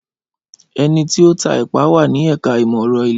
Ẹniti o ta epa wa ni ẹka imọ-ẹrọ ile